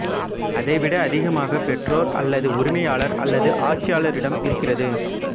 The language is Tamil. அதைவிட அதிகமாக பெற்றோர் அல்லது உரிமையாளர் அல்லது ஆட்சியாளரிடம் இருக்கிறது